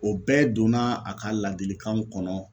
O bɛɛ donna a ka ladilikanw kɔnɔ